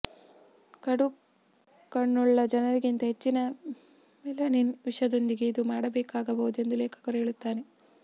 ಕಡು ಕಣ್ಣುಳ್ಳ ಜನರಿಗಿಂತ ಹೆಚ್ಚಿನ ಮೆಲನಿನ್ ವಿಷಯದೊಂದಿಗೆ ಇದು ಮಾಡಬೇಕಾಗಬಹುದು ಎಂದು ಲೇಖಕನು ಹೇಳುತ್ತಾನೆ